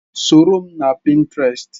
Soro m na Pinterest!